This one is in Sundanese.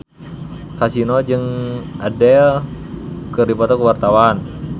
Kasino jeung Adele keur dipoto ku wartawan